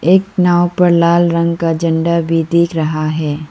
एक नाँव पर लाल रंग का झंडा भी दिख रहा है।